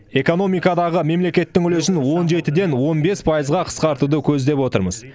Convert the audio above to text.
экономикадағы мемлекеттің үлесін он жетіден он бес пайызға қысқартуды көздеп отырмыз